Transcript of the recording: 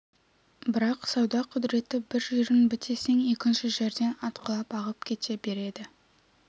бірақ сауда құдіреті бір жерін бітесең екінші жерден атқылап ағып кете береді